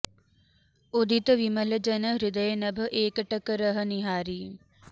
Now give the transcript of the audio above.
उदित बिमल जन हृदय नभ एकटक रही निहारि